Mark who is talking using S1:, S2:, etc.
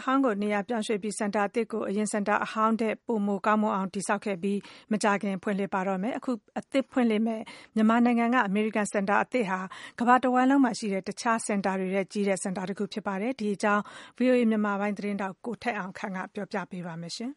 S1: အဟောင်းကို နေရာပြောင်းရွှေ့ပြီး စင်တာအသစ်ကိုတော့ အရင်စင်တာ အဟောင်း ထက် ပိုမိုကောင်းမွန်အောင်တည်ဆောက်ခဲ့ပြီးမကြာခင်မှာဖွင့်လှစ်တော့မှာဖြစ်ပါတယ်။အခု အသစ်ဖွင့်လှစ်မယ့် အမေ ရိကန် စင်တာအသစ်ဟာ ကမ္ဘာတဝှမ်းလုံးမှာရှိတဲ့ အခြား စင်တာတွေထက်ကြီးတဲ့ စင်တာတခုဖြစ်ပါတယ်။ ဒီအကြောင်းကို ဗွီအိုအေမြန်မာပိုင်း သတင်းထောက် ကိုထက်အောင်ခန့်က သတင်းပေးပို့ထားပါတယ်